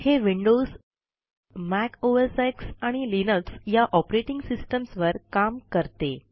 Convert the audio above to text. हे Windows Mac OSX आणि Linux या ऑपरेटिंग सिस्टम्स वर काम करते